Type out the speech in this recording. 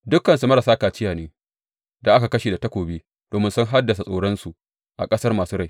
Dukansu marasa kaciya ne, da aka kashe da takobi domin sun haddasa tsoronsu a ƙasar masu rai.